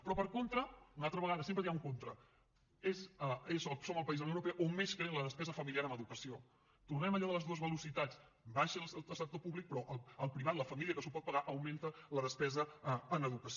però per contra una altra vegada sempre hi ha un contra som el país de la unió europea on més creix la despesa familiar en educació tornem a allò de les dues velocitats baixa el sector públic però el privat la família que s’ho pot pagar augmenta la despesa en educació